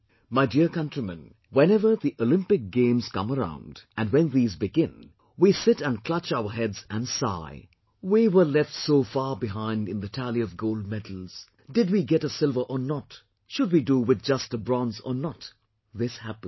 My dear countrymen, whenever the Olympic games come around, and when these begin, we sit and clutch our heads and sigh, "we were left so far behind in the tally of gold medals... did we get a silver or not... should we do with just a bronze or not..." This happens